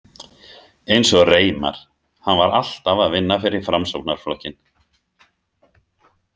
Eins og Reimar, hann var alltaf að vinna fyrir Framsóknarflokkinn.